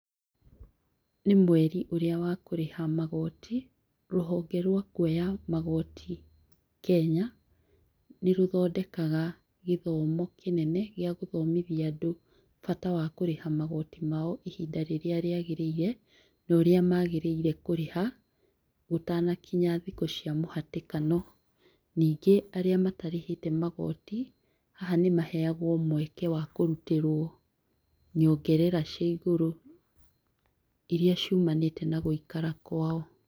Nĩ mweri ũria wa kũrĩha magoti, rũhonge rwa kuoya magoti Kenya, nĩ rũthondekaga gĩthomo kĩnene gĩa gũthomithia andũ bata wa kũrĩha magoti mao ihinda rĩrĩa rĩagĩrĩire, na ũrĩa magĩrĩire kũrĩha, gũtanakinya thikũ cia mũhatĩkano. Ningĩ aria matarĩhĩte magoti, haha nĩ maheagwo mweke wa kurutĩrwo nyongerera cia igũrũ iria ciũmanĩte na gũikara kwao.